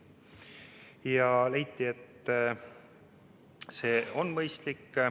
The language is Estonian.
Ja leiti, et see on mõistlik.